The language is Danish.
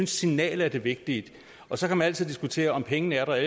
signalet er det vigtige og så kan man altid diskutere om pengene er der